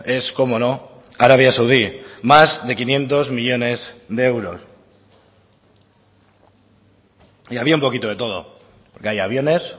es cómo no arabia saudí más de quinientos millónes de euros y había un poquito de todo porque hay aviones